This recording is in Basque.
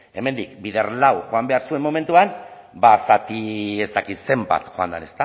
hemendik bider lau joan behar zuen momentuan ba zati ez dakit zenbat joan den